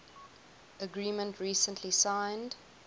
agreement recently signed